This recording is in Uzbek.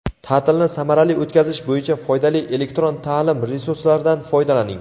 Ta’tilni samarali o‘tkazish bo‘yicha foydali elektron ta’lim resurslaridan foydalaning:.